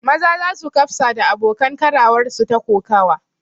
Maza sa su kafsa da abokan karawarsu ta kokawa